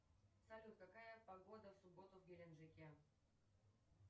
салют какая погода в субботу в геленджике